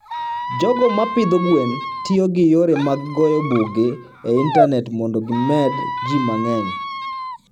jogo ma pidho gwen tiyo gi yore mag goyo buge e intanet mondo gimed ji mang'eny.